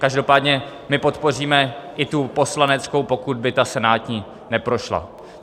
Každopádně my podpoříme i tu poslaneckou, pokud by ta senátní neprošla.